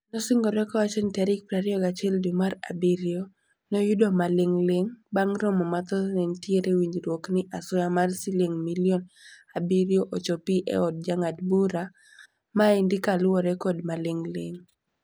Nosingore kowacho ni tarik 21 dwe mar abirio noyudo malingling. Bang romo mathoth ne nitiere winjrwok ni asoya mar siling milion abirio ochopi e od jangad bura. Maendi kalure kod malingling.